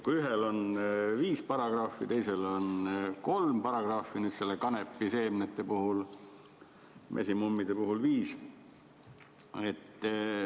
Ühel on viis paragrahvi, teisel on kolm paragrahvi: kanepiseemnete puhul kolm, mesimummide puhul viis.